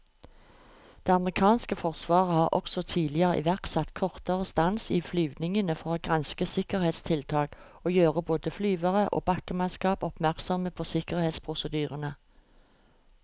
Det amerikanske forsvaret har også tidligere iverksatt kortere stans i flyvningene for å granske sikkerhetstiltak og gjøre både flyvere og bakkemannskap oppmerksomme på sikkerhetsprosedyrene.